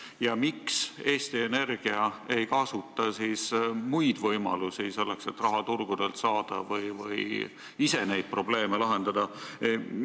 Ja miks Eesti Energia ei kasuta võimalusi selleks, et raha turgudelt saada ja ise neid probleeme lahendada?